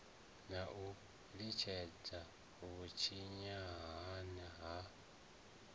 na u litshedzelwa vhushayahaya ha